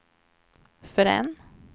förrän